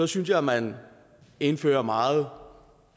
synes jeg at man indfører meget